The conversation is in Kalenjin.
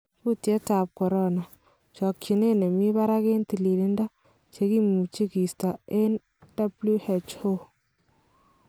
Kutyet ab Corona:Chokyinet nemi barak eng tililido ,chekimuch kosto enge WHO